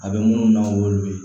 A bɛ minnu dɔn olu ye